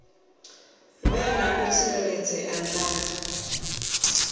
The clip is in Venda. vhe na u tsireledzea na